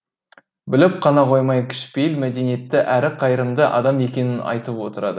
біліп қана қоймай кішіпейіл мәдениетті әрі қайырымды адам екенін айтып отырады